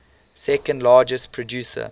second largest producer